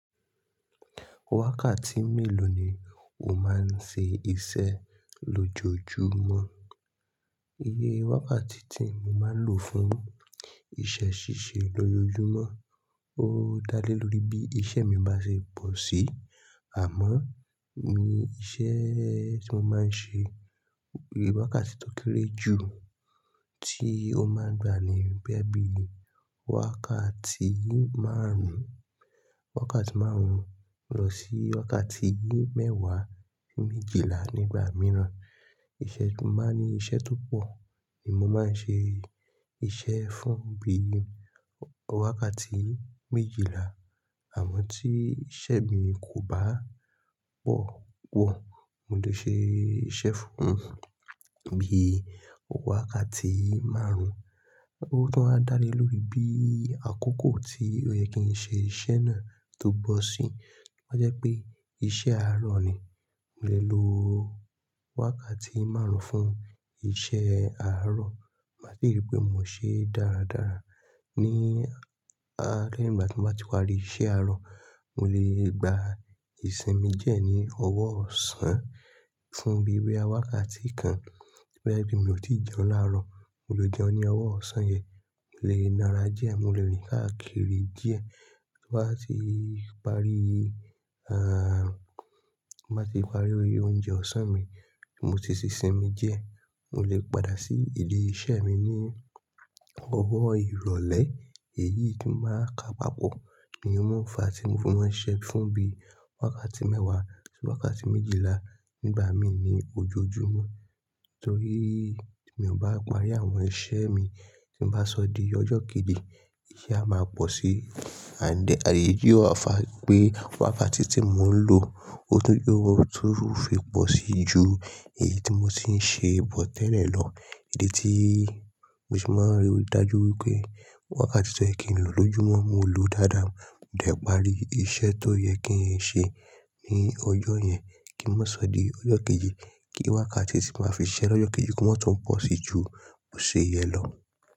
Wákàtí mélòó ni o máa ń ṣe iṣẹ́ lójoojúmọ́? Iye wákàtí tí mo máa ń lò fún iṣẹ́ ṣíṣe lójoojúmọ́, ó dá lé lórí bí iṣẹ́ mi bá ṣe pọ̀ sí, àmọ́ ní iṣẹ́ tí mo máa ń ṣe, wákàtí tó kéré jù tí ó máa ń gbani bóyá bí wákàtí márùn-ún, wákàtí márùn-ún lọ sí wákàtí mẹ́wàá méjìlá nígbà mìíràn. Ìṣẹ̀ tí n bá ní iṣẹ́ tó pọ̀ ni mo máa ń ṣe iṣẹ́ fún bí i wákàtí méjìlá, àmọ́ tí iṣẹ́ mi kò bá pọ̀ pọ̀, mo lè ṣe iṣẹ́ fún bí i wákàtí márùn-ún. Ó tún wá a dá lé lórí bí àkókò tí ó yẹ kí n ṣe iṣẹ́ náà tó bọ̀ sí. Ó jẹ́ pé iṣẹ́ àárọ̀ ni, mo lè lo wákàtí márùn-ún fún iṣẹ́ àárọ̀. Má sì rí pé mò ń ṣe dáradára ní àárọ̀. Nígbà tí mo bá ti wá rí iṣẹ́ àárọ̀, mo lè gba ìsinmi díẹ́ ní ọwọ́ ọ̀sán fún bí i wẹ wákàtí kan. Bẹ́ẹ̀ bí mo ò tí jẹun láàárọ̀, mo lè jẹun ní ọwọ́ ọ̀sán yẹn, mo lè nara díẹ̀, mo lè rìn káàkiri díẹ̀. Bí mo bá ti parí, ah, bá ti parí oúnjẹ ọ̀sán mi, mo ti sì sinmi díẹ́, mo lè padà sí ilé iṣẹ́ mi ní ọwọ́ ìrọ̀lẹ́. Èyí tí máa ka papọ̀ ní ohun òǹfà tí mo máa ń ṣe fún bí i wákàtí mẹ́wàá sí wákàtí méjìlá nígbà mí ní ojoojúmọ́. Nítorí mi ò bá parí àwọn iṣẹ́ mi tí ń bá sọ di ọjọ́ kejì, iṣẹ́ a máa pọ̀ sí. And then, èyí tó fà nipé wákàtí tí mò ń lò, ó tún yóò túu fe pọ̀ sí ju èyí tí mo ti ń ṣe bọ́ tẹ́lẹ̀ lọ. Èdè tí mo sì máa ń rí i dájú wípé wákàtí tí ó yẹ kí n lò lójúmọ́, mo lò dáadáa, mo dẹ̀ parí iṣẹ́ tó yẹ kí n ṣe ní ọjọ́ yẹn kí ó má sọ di ọjọ́ kejì kí wákàtí sí màá fi ṣẹ́ lọ́jọ́ kejì kó má tún pọ̀ sí ju òṣèyẹ lọ.